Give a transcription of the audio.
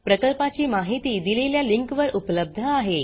प्रकल्पाची माहिती दिलेल्या लिंकवर उपलब्ध आहे